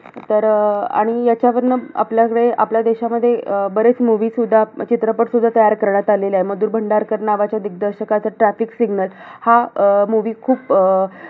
इथपर्यंतच सगळं होतं तर त्याच्यात मला एकदम जास्त आवडलेला topic एक अफजलखानाचा होता आणि त्याच्यानंतर एक आग्रा वरुन सुटका हा आग्रा वरून सुटका हे फक्त ऐकायला अस वाटत सोपं वाटतं की आग्रा वरुन सुटका